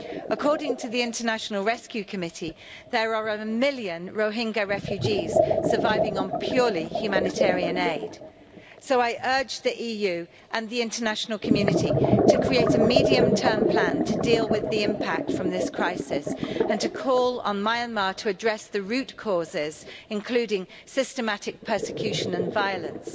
According to the International Rescue Committee, there are a million Rohingya refugees surviving purely on humanitarian aid. So I urge the EU and the international community to create a medium-term plan to deal with the impact of this crisis, and to call on Myanmar to address the root causes, including systematic persecution and violence.